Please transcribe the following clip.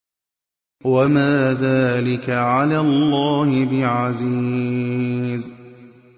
وَمَا ذَٰلِكَ عَلَى اللَّهِ بِعَزِيزٍ